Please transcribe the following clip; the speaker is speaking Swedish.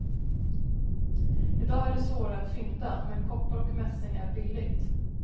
I dag är det svårare att fynda, men koppar och mässing är billigt.